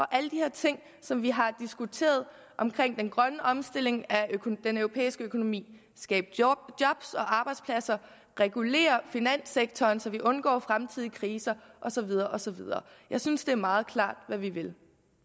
alle de her ting som vi har diskuteret om den grønne omstilling af den europæiske økonomi skabe job og arbejdspladser regulere finanssektoren så vi undgår fremtidige kriser og så videre og så videre jeg synes det er meget klart hvad vi vil